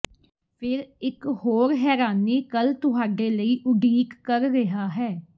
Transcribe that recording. ਫ਼ੇਰ ਇੱਕ ਹੋਰ ਹੈਰਾਨੀ ਕੱਲ ਤੁਹਾਡੇ ਲਈ ਉਡੀਕ ਕਰ ਰਿਹਾ ਹੈ